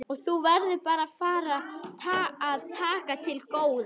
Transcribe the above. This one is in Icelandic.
Og þú verður bara að fara að taka til góða.